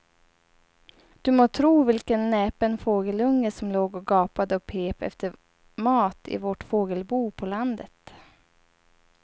Du må tro vilken näpen fågelunge som låg och gapade och pep efter mat i vårt fågelbo på landet.